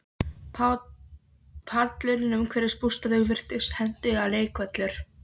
Pallurinn umhverfis bústaðinn virtist hentugur leikvöllur.